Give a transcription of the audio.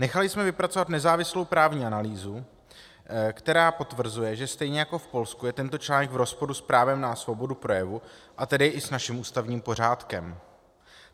Nechali jsme vypracovat nezávislou právní analýzu, která potvrzuje, že stejně jako v Polsku je tento článek v rozporu s právem na svobodu projevu, a tedy i s naším ústavním pořádkem.